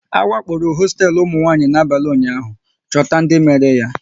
A wakporo hosteelu ụmụnwanyị n'abalị ụnyaahụ, chọta ndị mere ya!